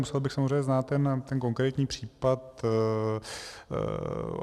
Musel bych samozřejmě znát ten konkrétní případ.